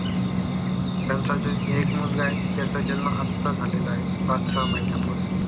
त्यांचा जो एक मुलगा आहे त्याचा जन्म आता झालेला आहे पाच सहा महिन्या पूर्वी